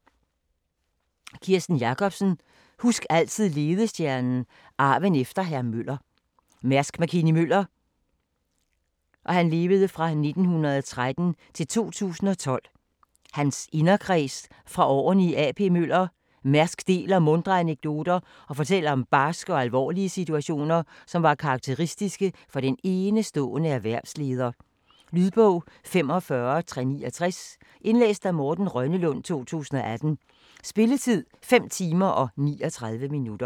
Jacobsen, Kirsten: Husk altid ledestjernen: arven efter Hr. Møller Mærks Mc-Kinney Møllers (1913-2012) inderkreds fra årene i A.P. Møller - Mærsk deler muntre anekdoter og fortæller om barske og alvorlige situationer, som var karakteristiske for den enestående erhvervsleder. Lydbog 45369 Indlæst af Morten Rønnelund, 2018. Spilletid: 5 timer, 39 minutter.